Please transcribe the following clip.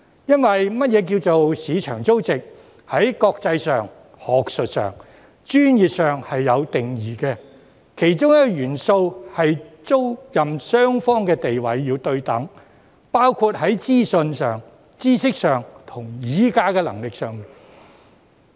因為何謂"市場租值"，在國際上、學術上、專業上是有定義的，其中一個元素是租賃雙方的地位要對等，包括在資訊上、知識上和議價能力上。